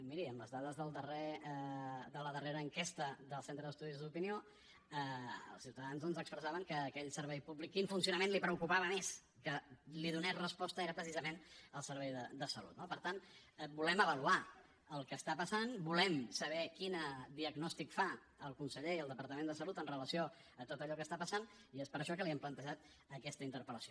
miri en les dades de la darrera enquesta del centre d’estudis d’opinió els ciutadans doncs expressaven que aquell servei públic el funcionament del qual li preocupava més que li donés resposta era precisament el servei de salut no per tant volem avaluar el que està passant volem saber quin diagnòstic fa el conseller i el departament de salut amb relació a tot allò que està passant i és per això que li hem plantejat aquesta interpel·lació